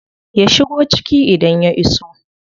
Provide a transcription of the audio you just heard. Ya shigo ciki idan ya iso.